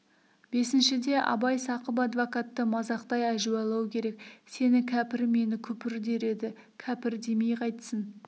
бесіншіде абай сақып адвокатты мазақтай әжуалау керек сені кәпір мені күпір дер еді кәпір демей қайтсін